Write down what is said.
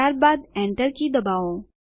ત્યારબાદ Enter key દબાવો